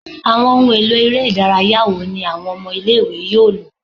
Awọn ohun elo ere idaraya wo ni awọn ọmọ ile-iwe yoo lo?